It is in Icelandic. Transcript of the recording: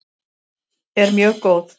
er mjög góð.